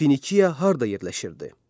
Finiya harda yerləşirdi?